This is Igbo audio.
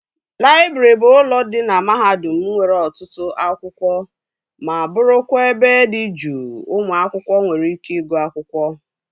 Laịbrị bụ ụlọ dị na mahadum nwere ọtụtụ akwụkwọ ma bụrụkwa ebe dị juu ụmụ akwụkwọ nwere ike ịgụ akwụkwọ